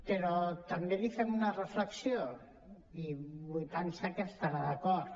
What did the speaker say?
però també li fem una reflexió i vull pensar hi que estarà d’acord